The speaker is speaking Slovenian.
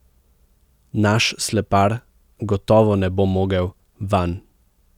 Naš slepar gotovo ne bo mogel vanj.